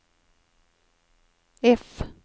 F